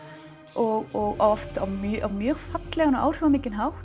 og oft á mjög fallegan og áhrifaríkan hátt